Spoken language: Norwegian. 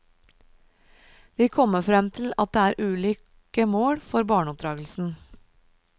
De kommer frem til at det er ulike mål for barneoppdragelsen.